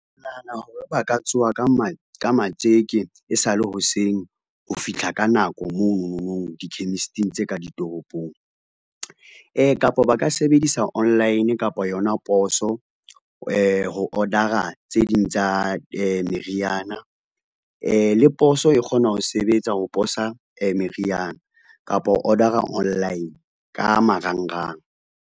Nahana hore ba ka tsoha ka matjeke e sa le hoseng ho fihla ka nako monono di-chemist-ing tse ka ditoropong. Kapa ba ka sebedisa online kapa yona poso ho order-a tse ding tsa meriana le poso e kgona ho sebetsa ho posa meriana kapa order-a online ka marangrang.